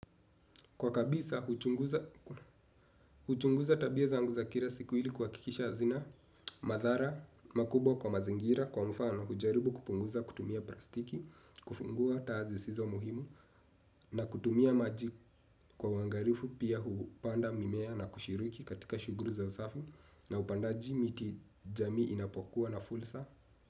Kwa kabisa, huchunguza tabia zangu za kila siku ili kuhakikisha hazina, madhara, makubwa kwa mazingira, kwa mfano, hujaribu kupunguza, kutumia plastiki, kufungua taa zisizo muhimu, na kutumia maji kwa uwangalifu, pia hupanda mimea na kushiriki katika shughuli za usafi, na upandaji miti jamii inapokua na fursa.